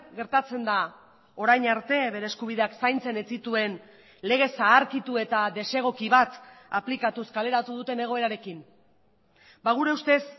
gertatzen da orain arte bere eskubideak zaintzen ez zituen lege zaharkitu eta desegoki bat aplikatuz kaleratu duten egoerarekin gure ustez